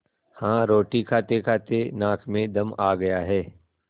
हाँ रोटी खातेखाते नाक में दम आ गया है